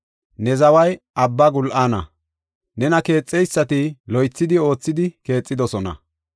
Ne zaway abba gul7aana; nena keexeysati loythidi oothidi keexidosona.